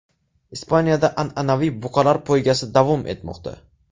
Ispaniyada an’anaviy buqalar poygasi davom etmoqda.